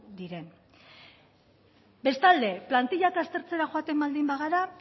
diren bestalde plantillak aztertzera joaten baldin bagara